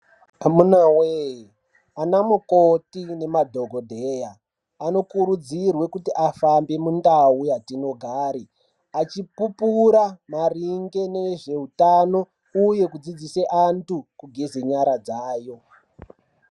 Amunawe ana mukoti ne madhokodheya ano kurudzirwe kuti afambe mu ndau yatino gare achi pupura maringe nezve utano uye kudzidzise antu kugeze nyara dzayo.